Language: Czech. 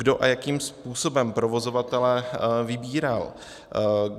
Kdo a jakým způsobem provozovatele vybíral?